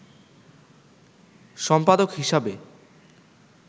সম্পাদক হিসাবে